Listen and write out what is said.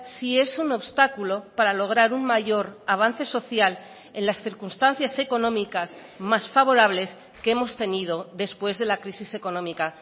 sí es un obstáculo para lograr un mayor avance social en las circunstancias económicas más favorables que hemos tenido después de la crisis económica